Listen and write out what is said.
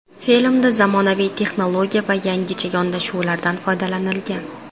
Filmda zamonaviy texnologiya va yangicha yondashuvlardan foydalanilgan.